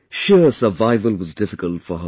Sheer survival was difficult for her family